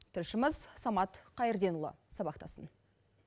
тілшіміз самат қайырденұлы сабақтасын